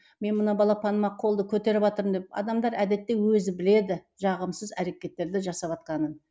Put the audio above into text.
мен мына балапаныма қолды көтеріватырмын деп адамдар әдетте өзі біледі жағымсыз әрекеттерді жасатватқанын